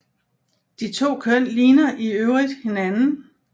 De to køn ligner i øvrigt hinanden